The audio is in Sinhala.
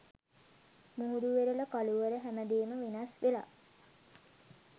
මුහුදු වෙරළ කළුවර හැමදේම වෙනස් වෙලා